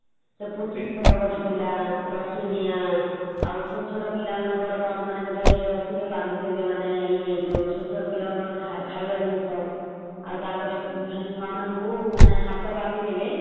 ସେ ପୁଥି ପିଅନ ଗୋଟେ ଥିଲା ରସି ଡିଓ ଆଉ ଛୋଟ ଛୋଟ ପିଲା ମାନଙ୍କର କଣ ମାନେ ଗୋଟେ ରସିରେ ବାନ୍ଧିଦେବେ ମାନେ ଇଏ ଯଉ ଛୋଟ ଛୋଟ ପିଲାମାନଙ୍କର ଖାଇବା ଜିନିଷ । ଆଉ ତାପରେ ଛୁଆ ମାନଙ୍କୁ ମାନେ ହାତ ବାନ୍ଧିଦେବେ ।